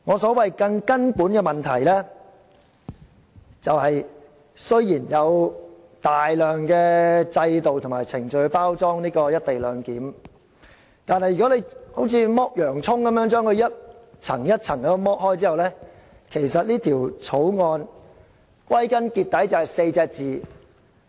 雖然政府用大量的制度及程序來包裝"一地兩檢"的安排，但如果我們像剝洋蔥般把《條例草案》逐層剝開，便會發現只有"黨大於法 "4 個字。